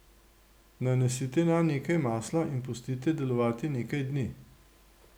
Nanesite nanj nekaj masla in pustite delovati nekaj dni.